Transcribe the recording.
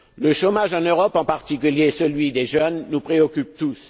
Le chômage en Europe, en particulier celui des jeunes, nous préoccupe tous.